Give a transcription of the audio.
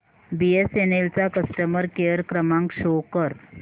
BSNL चा customer care क्रमांक show कर